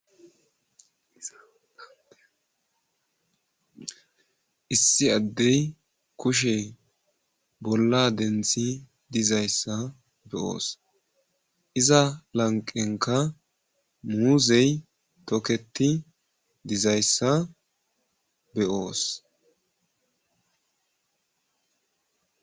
issi addey kushe bolla denthi dizayssa be'oos iza lanqenka muuzey toketi dizayssa be'oos